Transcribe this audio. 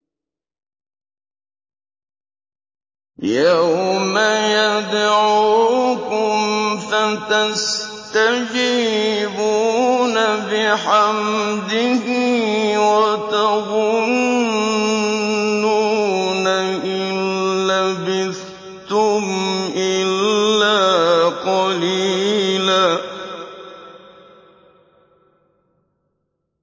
يَوْمَ يَدْعُوكُمْ فَتَسْتَجِيبُونَ بِحَمْدِهِ وَتَظُنُّونَ إِن لَّبِثْتُمْ إِلَّا قَلِيلًا